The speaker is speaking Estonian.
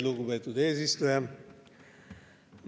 Lugupeetud eesistuja!